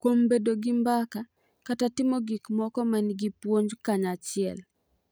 Kuom bedo gi mbaka kata timo gik moko ma nigi puonj kanyachiel.